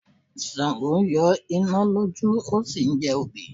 Sàngó ń yọ iná lójú ó sì ń jẹ obì.